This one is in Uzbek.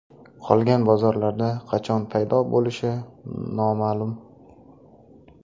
Qolgan bozorlarda qachon paydo bo‘lishi noma’lum.